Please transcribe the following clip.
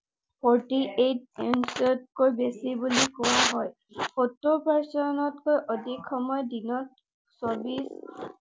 Forty-eight inch তকৈও বেছি বুলি কোৱা হয়। সত্তৰ percent তকৈও অধিক সময় দিনত চৌব্বিশ